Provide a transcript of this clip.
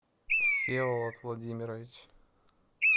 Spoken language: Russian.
всеволод владимирович